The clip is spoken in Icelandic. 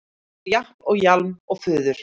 eftir japl og jaml og fuður